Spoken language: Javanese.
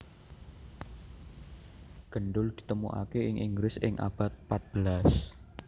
Gendul ditemokaké ing Inggris ing abad patbelas